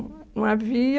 Não havia...